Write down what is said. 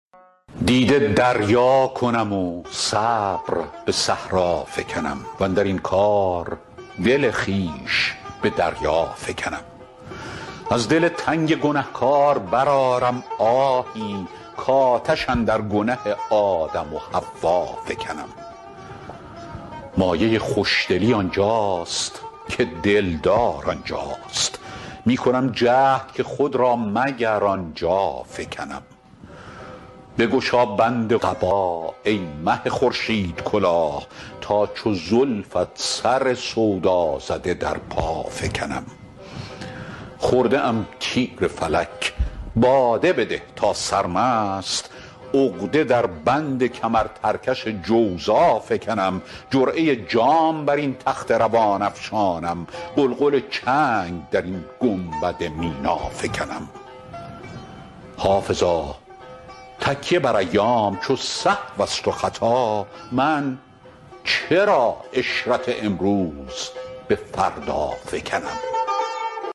دیده دریا کنم و صبر به صحرا فکنم واندر این کار دل خویش به دریا فکنم از دل تنگ گنه کار برآرم آهی کآتش اندر گنه آدم و حوا فکنم مایه خوش دلی آن جاست که دل دار آن جاست می کنم جهد که خود را مگر آن جا فکنم بگشا بند قبا ای مه خورشیدکلاه تا چو زلفت سر سودا زده در پا فکنم خورده ام تیر فلک باده بده تا سرمست عقده در بند کمرترکش جوزا فکنم جرعه جام بر این تخت روان افشانم غلغل چنگ در این گنبد مینا فکنم حافظا تکیه بر ایام چو سهو است و خطا من چرا عشرت امروز به فردا فکنم